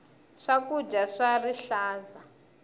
swakudya swa rihlaza